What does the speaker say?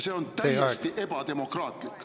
See on täiesti ebademokraatlik.